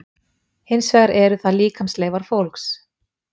hins vegar eru það líkamsleifar fólks